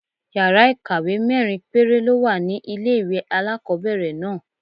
Yàrá ìkàwé mẹ́rin péré ló wà ní ilé-ìwé alákọ́bẹ̀rẹ̀ náà